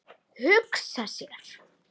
Hugsa sér!